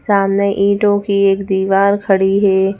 सामने ईंटों की एक दीवार खड़ी है।